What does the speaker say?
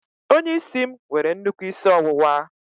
Onye isi m nwere nnukwu isi ọwụwa